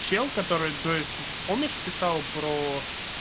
чел который джойсон помнишь писал про